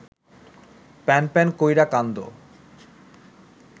প্যানপ্যান কইরা কান্দো